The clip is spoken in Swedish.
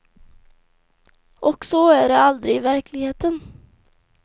Och så är det aldrig i verkligheten.